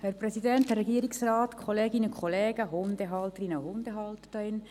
Die SP-JUSO-PSA-Fraktion ist sehr gespalten.